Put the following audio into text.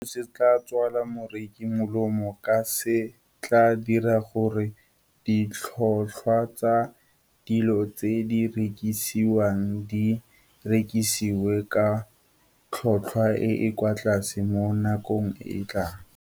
Seno se tla tswela moreki molemo ka se tla dira gore ditlhotlhwa tsa dilo tse di rekisiwang di rekisiwe ka tlhotlhwa e e kwa tlase mo nakong e e tlang.